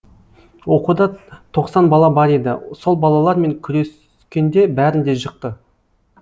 оқуда тоқсан бала бар еді сол балалар мен күрес кенде бәрін де жықты